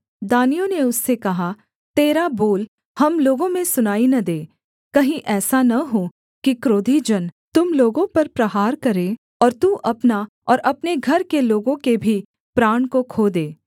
दानियों ने उससे कहा तेरा बोल हम लोगों में सुनाई न दे कहीं ऐसा न हो कि क्रोधी जन तुम लोगों पर प्रहार करें और तू अपना और अपने घर के लोगों के भी प्राण को खो दे